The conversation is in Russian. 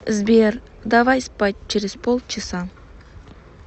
сбер давай спать через полчаса